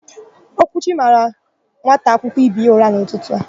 Okwuchi mara nwata akwụkwọ ibe ya ụra n'ụtụtụ.